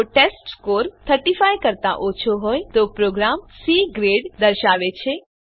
જો ટેસ્ટસ્કોર ૩૫ કરતા ઓછો હોય તો પ્રોગ્રામ સી ગ્રેડ દર્શાવે છે